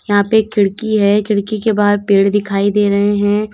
यहां पे एक खिड़की है खिड़की के बाहर पेड़ दिखाई दे रहे हैं।